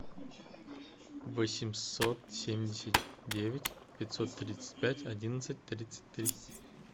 восемьсот семьдесят девять пятьсот тридцать пять одиннадцать тридцать три